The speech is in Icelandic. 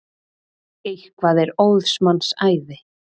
Eitthvað er óðs manns æði